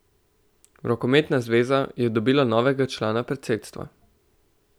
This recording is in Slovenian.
Rokometna zveza je dobila novega člana predsedstva.